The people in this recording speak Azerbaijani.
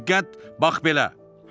Diqqət, bax belə!